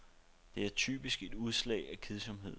Det er typisk et udslag af kedsomhed.